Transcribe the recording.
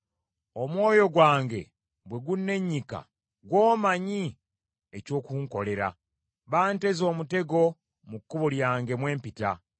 Omwoyo gwange bwe gunnennyika, gw’omanyi eky’okunkolera. Banteze omutego mu kkubo lyange mwe mpita.